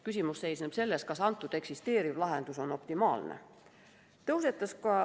Küsimus seisneb selles, kas eksisteeriv lahendus on optimaalne.